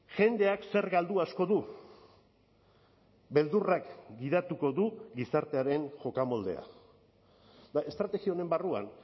jendeak zer galdu asko du beldurrak gidatuko du gizartearen jokamoldea estrategia honen barruan